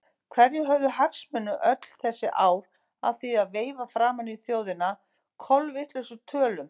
Hverjir höfðu hagsmuni öll þessi ár af því að veifa framan í þjóðina kolvitlausum tölum?